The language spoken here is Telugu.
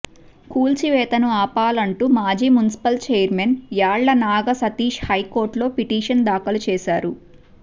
కూల్చివేతను ఆపాలంటూ మాజీ మున్సిపల్ చైర్మన్ యాళ్ల నాగ సతీష్ హైకోర్టులో పిటిషన్ దాఖలు చేశారు